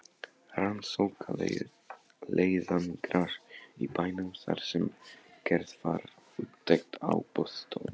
Rannsóknarleiðangrar í bænum þar sem gerð var úttekt á boðstólum.